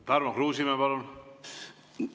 Tarmo Kruusimäe, palun!